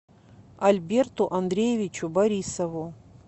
альберту андреевичу борисову